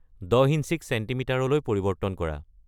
দহ ইঞ্চিক ছেণ্টিমিটাৰলৈ পৰিৱৰ্তন কৰা